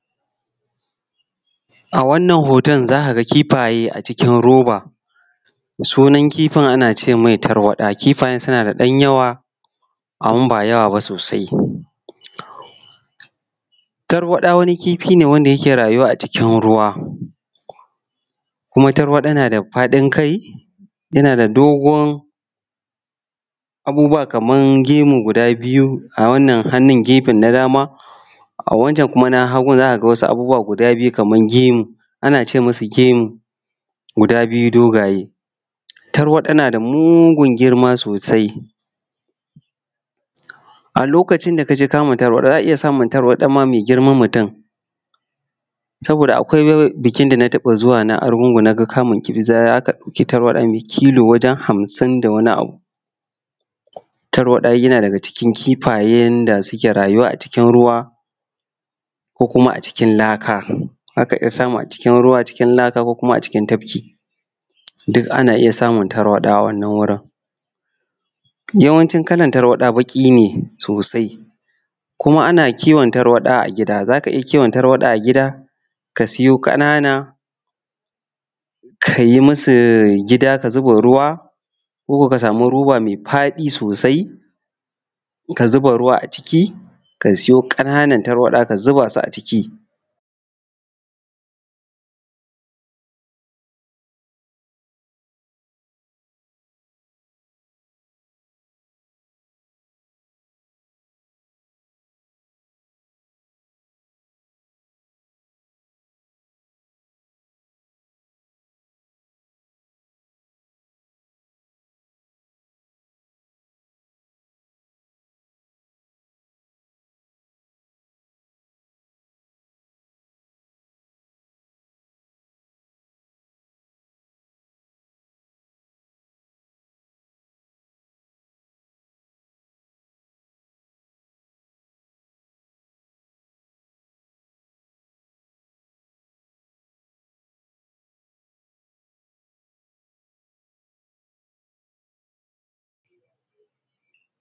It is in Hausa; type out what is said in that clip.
A wannan hoton za ka ga kifaye a cikin matsala sunan kifin ana ce mai tarwaɗa kifaye suna da yawa amma ba yawa ba sosai. Tarwaɗa wani kifi ne da yake rayuwa a cikin ruwa. Kuma tarwaɗa na da fadin kai tana da gidon abubuwa kamar gemu guda biyu a wannan hannun gefen na dama. A wancen na hagun za ka ga wasu abubuwa guda biyu kamar gemu ana ce musu gemu guda biyu dogaye. Tarwaɗa na da mugungirma sosai. A lokacin da ka je kamun tarwaɗa za a iya samun tarwaɗa mai girma sosai. Saboda akwai bikin da zuwa na argungun na ga kamun kifi za ka ɗauki tarwaɗa mai ki kilo ha sun da wani abu. Tarwaɗa yana daga ciki kifayen da suke rayuwa a cikinruwa ko kuma a cikin laka, za ka iya samu a cikin tafki duk ana iya sumun tarwaɗa a wannan wurin. Yawancin kalar tarwaɗa baki ne sosai kuma ana kiwon ta tarwada a gida ka sayo ƙanana ka yi musau guda ka zuba ruwa ko ka samu roba mai faɗi sosai ka zuba ruwa ciki ka sayo ƙananan tarwaɗa ka zuba su a ciki.........